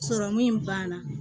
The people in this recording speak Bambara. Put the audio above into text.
Sɔrɔmu banna